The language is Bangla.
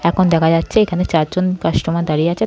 এখন দেখা যাচ্ছে এখানে চারজন কাস্টোমার দাঁড়িয়ে আছে ।